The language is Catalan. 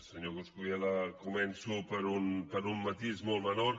senyor coscubiela començo per un matís molt menor